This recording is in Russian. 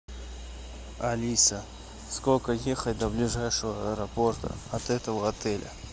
алиса сколько ехать до ближайшего аэропорта от этого отеля